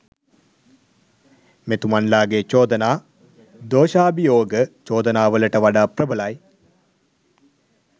මෙතුමන්ලාගේ චෝදනා දෝශාභියෝග චෝදනා වලට වඩා ප්‍රභලයි.